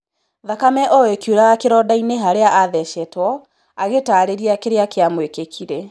Thakame o-ĩkiuraga kĩrondainĩ harĩa athecetwo, agĩtarĩria kĩrĩa kĩamũĩkĩkĩire.